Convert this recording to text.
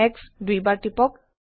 X দুইবাৰ টিপক